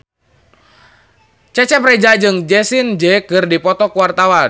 Cecep Reza jeung Jessie J keur dipoto ku wartawan